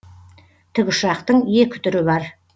тікұшақтың екі түрі бар